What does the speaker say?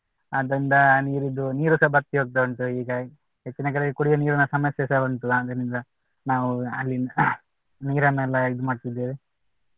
ಅದ್ರಿಂದ ನೀರಿದು ನೀರುಸ ಬತ್ತಿ ಹೋಗ್ತಾ ಉಂಟು ಹೀಗಾಗಿ ಹೆಚ್ಚಿನ ಕಡೆ ಕುಡಿಯುವ ನೀರಿನ ಸಮಸ್ಯೆಸ ಕೂಡ ಉಂಟು ಆದರಿಂದ ನಾವು ಅಲ್ಲಿ ನೀರನ್ನೆಲ್ಲ ಇದು ಮಾಡ್ತಾ ಇದ್ದೇವೆ.